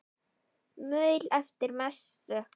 Maul eftir messu.